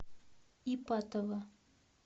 ипатово